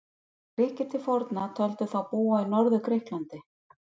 Grikkir til forna töldu þá búa í Norður-Grikklandi.